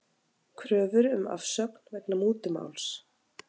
Kröfur um afsögn vegna mútumáls